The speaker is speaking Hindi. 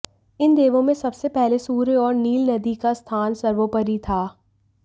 इन देवों में सबसे पहले सूर्य और नील नदी का स्थान सर्वोपरि था